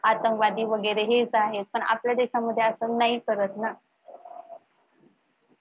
आतंगवादी वगैरे हेच आहेत पण आपल्या देशामध्ये असं नाही करत ना.